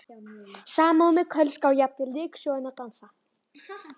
Samúðin með Kölska og jafnvel ryksugan dansar.